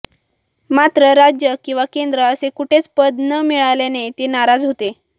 मात्र राज्य किंवा केंद्र असे कुठेच पद न मिळाल्याने ते नाराज होते